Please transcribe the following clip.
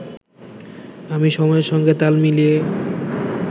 আমি সময়ের সঙ্গে তাল মিলিয়ে